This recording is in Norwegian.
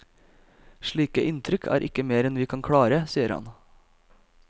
Slike innrykk er ikke mer enn vi kan klare, sier han.